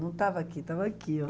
Não estava aqui, estava aqui, ó.